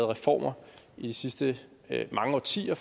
reformer i de sidste mange årtier